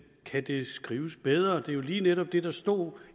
kan det skrives bedre det er jo lige netop det der stod